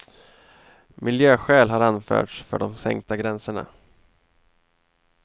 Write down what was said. Miljöskäl har anförts för de sänkta gränserna.